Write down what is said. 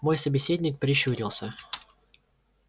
мой собеседник прищурился